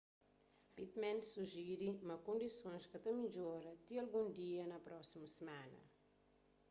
pittman sujiri ma kondisons ka ta midjoraba ti algun dia na prósimu simana